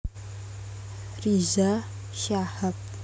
Riza Shahab